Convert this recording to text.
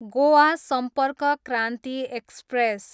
Goa Sampark Kranti express